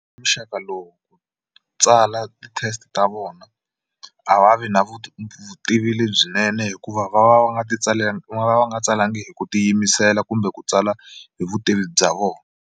Muxaka lowu tsala ti-test ta vona a va vi na vutivi lebyinene hikuva va va va nga ti va va va nga tsalangi hi ku tiyimisela kumbe ku tsala hi vutivi bya vona.